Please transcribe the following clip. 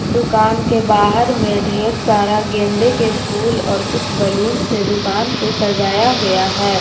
दुकान के बाहर में ढेर सारा गेंदे के फूल और कुछ बैलून से दुकान को सजाया गया है।